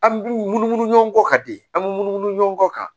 An munumunu ɲɔgɔn ka di an mi munumunu ɲɔgɔn kɔ kan